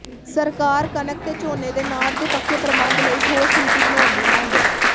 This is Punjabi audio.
ਸਰਕਾਰ ਕਣਕ ਤੇ ਝੋਨੇ ਦੇ ਨਾੜ ਦੇ ਪੱਕੇ ਪ੍ਰਬੰਧ ਲਈ ਠੋਸ ਨੀਤੀ ਬਣਾਉਣ ਦੀ ਮੰਗ